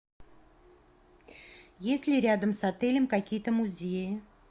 есть ли рядом с отелем какие то музеи